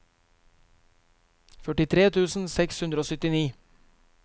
førtitre tusen seks hundre og syttini